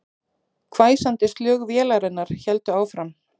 Hvæsandi slög vélarinnar héldu áfram